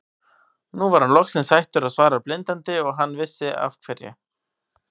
Nú var hann loksins hættur að svara blindandi og hann vissi af hverju.